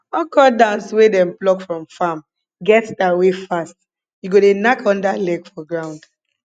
okro dance wey dem pluck from farm get style wey fast you go dey knack under leg for ground